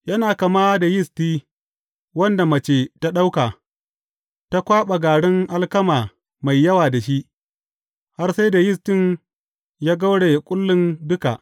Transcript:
Yana kama da yisti wadda mace ta ɗauka, ta kwaɓa garin alkama mai yawa da shi, har sai da yistin ya gauraye kullun duka.